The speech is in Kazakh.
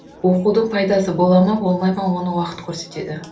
оқудың пайдасы бола ма болмай ма оны уақыт көрсетеді